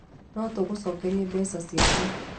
No tũgũcokerie mbeca ciaku